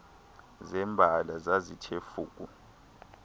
zembala zazithe fuku